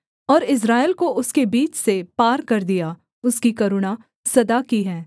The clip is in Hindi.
और इस्राएल को उसके बीच से पार कर दिया उसकी करुणा सदा की है